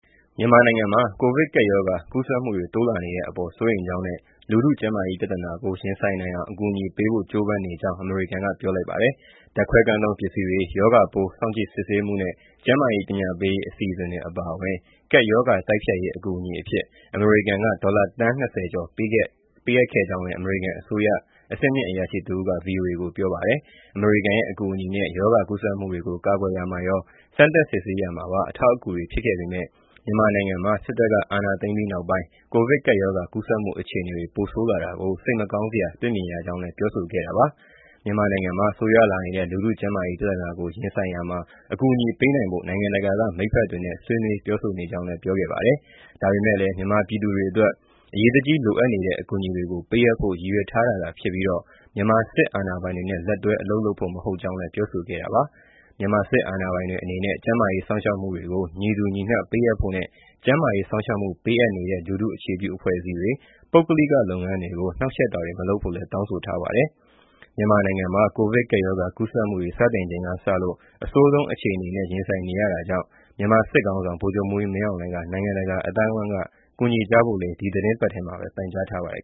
မြန်မာနိုင်ငံမှာ ကိုဗစ်ကပ်ရောဂါ ကူးစက်မှုတွေ တိုးလာနေတဲ့အပေါ် စိုးရိမ်ကြောင်းနဲ့ လူထုကျန်းမာရေး ပြဿနာကို ရင်ဆိုင်နိုင်အောင် အကူအညီပေးဖို့ ကြိုးပမ်းနေကြောင်း အမေရိကန်က ပြောလိုက်ပါတယ်။ ဓာတ်ခွဲခန်းသုံးပစ္စည်းတွေ၊ ရောဂါပိုး စောင့်ကြည့်စစ်ဆေးမှုနဲ့ ကျန်းမာရေး ပညာပေးရေး အစီအစဉ်တွေ အပါအဝင် ကပ်ရောဂါတိုက်ဖျက်ရေး အကူအညီအဖြစ် အမေရိကန်က ဒေါ်လာသန်း ၂၀ ကျော် ပေးအပ်ခဲ့ကြောင်းလည်း အမေရိကန် အစိုးရ အဆင့်မြင့်အရာရှိ တဦးက ဗွီအိုအေကို ပြောပါတယ်။ အမေရိကန်ရဲ့ အကူအညီနဲ့ ရောဂါကူးစက်မှုတွေကို ကာကွယ်ရာမှာရော၊ စမ်းသပ်စစ်ဆေးရာမှာပါ အထောက်အကူတွေ ဖြစ်ခဲ့ပေမဲ့ မြန်မာနိုင်ငံမှာ စစ်တပ်က အာဏာသိမ်းပြီးနောက်ပိုင်း ကိုဗစ်ကပ်ရောဂါ ကူးစက်မှု အခြေအနေတွေ ပိုဆိုးလာတာကို စိတ်မကောင်းစရာ တွေ့မြင်ရကြောင်းလည်း ပြောဆိုခဲ့တာပါ။ မြန်မာနိုင်ငံမှာ ဆိုးရွားလာနေတဲ့ လူထုကျန်းမာရေး ပြဿနာကို ရင်ဆိုင်ရာမှာ အကူအညီ ပေးနိုင်ဖို့ နိုင်ငံတကာက မိတ်ဖက်တွေနဲ့ ဆွေးနွေးပြောဆိုနေကြောင်းလည်း ပြောပါတယ်။ ဒါပေမဲ့လည်း မြန်မာပြည်သူတွေအတွက် အရေးတကြီး လိုအပ်နေတဲ့ အကူအညီတွေကို ပေးအပ်ဖို့ ရည်ရွယ်ထားတာသာဖြစ်ပြီး မြန်မာစစ်အာဏာပိုင်တွေနဲ့ လက်တွဲ အလုပ်လုပ်ဖို့ မဟုတ်ကြောင်းလည်း ပြောဆိုခဲ့တာပါ။ မြန်မာစစ်အာဏာပိုင်တွေ အနေနဲ့ ကျန်းမာရေး စောင့်ရှောက်မှုတွေကို ညီတူညီမျှ ပေးအပ်ဖို့နဲ့ ကျန်းမာရေး စောင့်ရှောက်မှု ပေးအပ်နေတဲ့ လူထုအခြေပြုအဖွဲ့အစည်းတွေ၊ ပုဂ္ဂလိကလုပ်ငန်းတွေကို နှောက်ယှက်တာတွေ မလုပ်ဖို့လည်း တောင်းဆိုထားပါတယ်။ မြန်မာနိုင်ငံမှာ ကိုဗစ်ကပ်ရောဂါ ကူးစက်မှုတွေ စတင်ချိန်ကစလို့ အဆိုးဆုံး အခြေအနေနဲ့ ရင်ဆိုင်နေရတာကြောင့် မြန်မာစစ်ခေါင်းဆောင် ဗိုလ်ချုပ်မှူးကြီး မင်းအောင်လှိုင်က နိုင်ငံတကာ အသိုင်းအဝန်းက ကူညီကြဖို့လည်း ဒီသီတင်းပတ်ထဲမှာပဲ ပန်ကြားထားပါတယ်